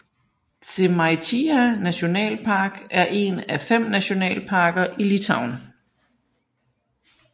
Žemaitija nationalpark er en af fem nationalparker i Litauen